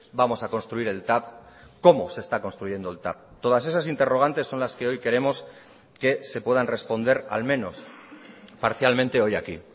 vamos a construir el tav cómo se está construyendo el tav todas esas interrogantes son las que hoy queremos que se puedan responder al menos parcialmente hoy aquí